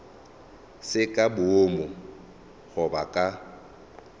se ka boomo goba ka